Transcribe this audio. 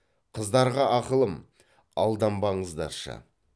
қыздарға ақылым алданбаңыздаршы